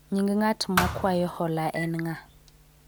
nying ng'at makwayo hola en ng'a?